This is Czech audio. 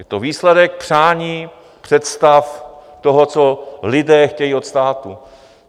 Je to výsledek přání, představ toho, co lidé chtějí od státu.